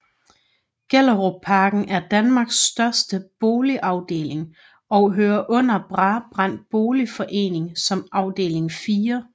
Gellerupparken er Danmarks største boligafdeling og hører under Brabrand Boligforening som afdeling 4